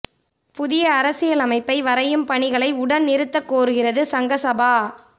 புதிய அரசியலமைப்பை வரையும் பணிகளை உடன் நிறுத்தக் கோருகிறது சங்க சபா